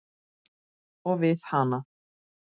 Og við hana.